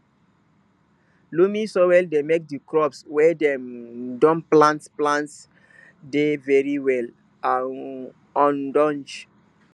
loamy soil dey make the crops wey dem don plant plant dey very well and ogdonge